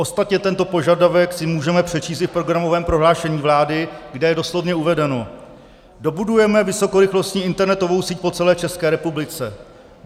Ostatně tento požadavek si můžeme přečíst i v programovém prohlášení vlády, kde je doslovně uvedeno: "Dobudujeme vysokorychlostní internetovou síť po celé České republice.